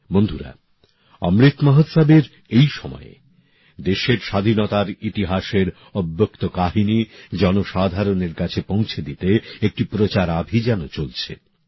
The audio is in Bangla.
বন্ধুরা অমৃত মহোৎসবের এই সময়ে দেশের স্বাধীনতার ইতিহাসের অব্যক্ত কাহিনী জনসাধারণের কাছে পৌঁছে দিতে একটি প্রচারাভিযানও চলছে